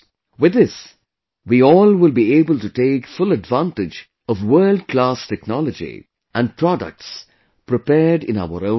With this, we all will be able to take full advantage of world class technology and products prepared in our own country